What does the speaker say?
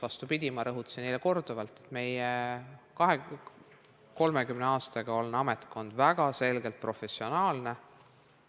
Vastupidi, ma rõhutasin eile korduvalt, et 30 aastaga on meie ametkond väga selgelt professionaalseks saanud.